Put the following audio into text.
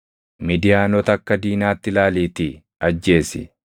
“Midiyaanota akka diinaatti ilaaliitii ajjeesi;